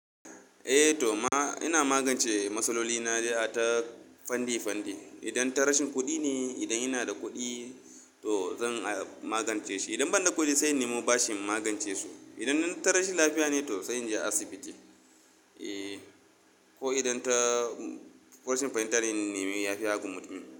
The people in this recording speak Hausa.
Eh to ma ina magance matsaloli na ta fanni fanni. Idan ta rashin kuɗi ne, idan yana da kuɗi to zan magance shi. Idan ban da kuɗi sai ni mu bashin magance su. Idan ta rashin lafiya ne to sai in je asibiti. Eh ko idan ta rashin fahimtar in neme ya fi ya agu mutum.